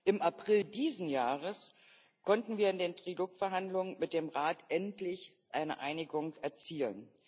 Im April dieses Jahres konnten wir in den Trilog Verhandlungen mit dem Rat endlich eine Einigung erzielen.